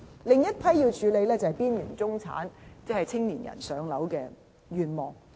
另一群要處理的是邊緣中產人士和青年人的"上樓"願望。